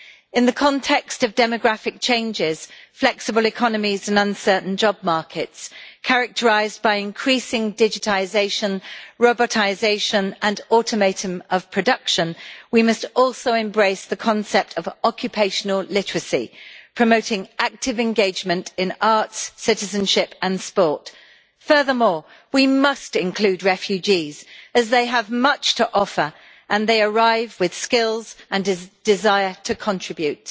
In the context of demographic changes, flexible economies and uncertain job markets characterised by increasing digitisation, robotisation and automation of production, we must also embrace the concept of occupational literacy promoting active engagement in arts, citizenship and sport. Furthermore, we must include refugees, as they have much to offer and they arrive with skills and a desire to contribute.